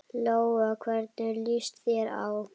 Lóa: Hvernig líst þér á?